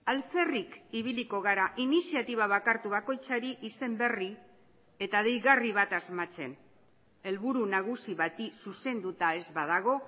alferrik ibiliko gara iniziatiba bakartu bakoitzari izen berri eta deigarri bat asmatzen helburu nagusi bati zuzenduta ez badago